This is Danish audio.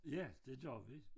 Ja det gør vi